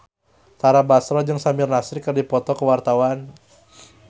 Tara Basro jeung Samir Nasri keur dipoto ku wartawan